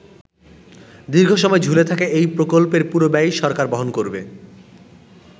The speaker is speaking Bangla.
দীর্ঘসময় ঝুলে থাকা এ প্রকল্পের পুরো ব্যয়ই সরকার বহন করবে।